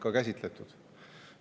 Ma käsitlesin seda kõnes pikemalt.